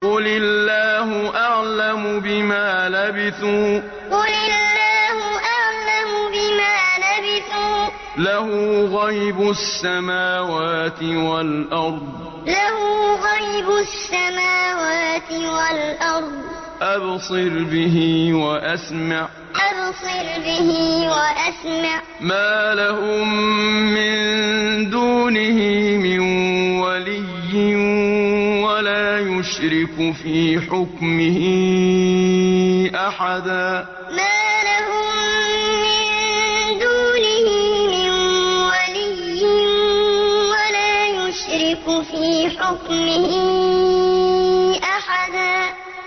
قُلِ اللَّهُ أَعْلَمُ بِمَا لَبِثُوا ۖ لَهُ غَيْبُ السَّمَاوَاتِ وَالْأَرْضِ ۖ أَبْصِرْ بِهِ وَأَسْمِعْ ۚ مَا لَهُم مِّن دُونِهِ مِن وَلِيٍّ وَلَا يُشْرِكُ فِي حُكْمِهِ أَحَدًا قُلِ اللَّهُ أَعْلَمُ بِمَا لَبِثُوا ۖ لَهُ غَيْبُ السَّمَاوَاتِ وَالْأَرْضِ ۖ أَبْصِرْ بِهِ وَأَسْمِعْ ۚ مَا لَهُم مِّن دُونِهِ مِن وَلِيٍّ وَلَا يُشْرِكُ فِي حُكْمِهِ أَحَدًا